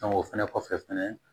o fɛnɛ kɔfɛ fɛnɛ